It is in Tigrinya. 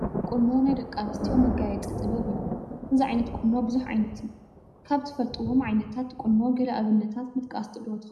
ቁኖ ናይ ደቂ ኣንስትዮ መጋየፂ ጥበብ እዩ፡፡ እዚ ዓይነት ቁኖ ብዙሕ ዓይነት እዩ፡፡ ካብ ትፈልጡዎም ዓይነታት ቁኖ ገለ ኣብነታት ምጥቃስ ዶ ትኽእሉ?